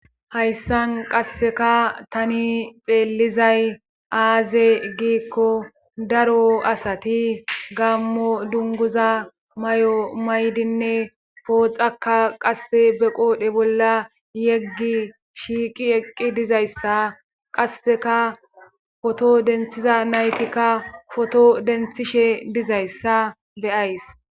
hayssan qasseka tani xeellizay aaze giikko daro asati gammo dunguza may7o maydinne pooxaka qasse be qoodhe bolla yeggi shiiqi eqqi dizayssa qasseka poto denthiza naytikka poto denthishe dizayssa beyays